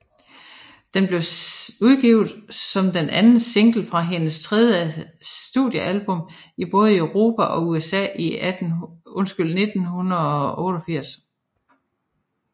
Den blev udgivet som den anden single fra hendes tredje studiealbum i både Europa og USA i 1988